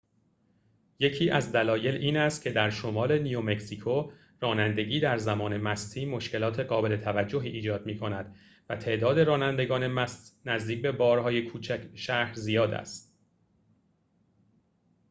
یکی از دلایل این است که در شمال نیومکزیکو رانندگی در زمان مستی مشکلات قابل توجهی ایجاد می‌کند و تعداد رانندگان مست نزدیک به بار‌های کوچک شهر زیاد است